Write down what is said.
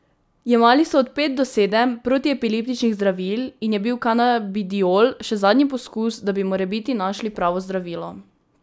Jemali so od pet do sedem protiepileptičnih zdravil in je bil kanabidiol še zadnji poskus, da bi morebiti našli pravo zdravilo.